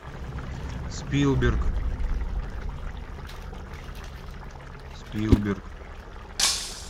спилберг спилберг